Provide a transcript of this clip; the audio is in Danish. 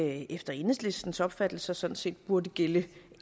efter enhedslistens opfattelse sådan set burde gælde